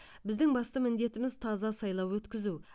біздің басты міндетіміз таза сайлау өткізу